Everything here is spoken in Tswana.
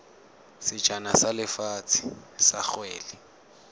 sejana sa lefatshe sa kgwele